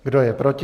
Kdo je proti?